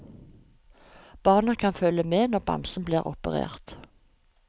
Barna kan følge med når bamsen blir operert.